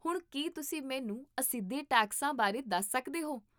ਹੁਣ ਕੀ ਤੁਸੀਂ ਮੈਨੂੰ ਅਸਿੱਧੇ ਟੈਕਸਾਂ ਬਾਰੇ ਦੱਸ ਸਕਦੇ ਹੋ?